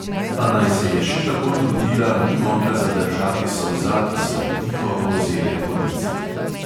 A naj se je še tako trudila, ni mogla zadržati solza, ki so ji tiho polzele po licih.